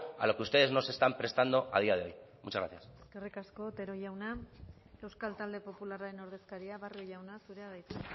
a lo que ustedes no se están prestando a día de hoy muchas gracias eskerrik asko otero jauna euskal talde popularraren ordezkaria barrio jauna zurea da hitza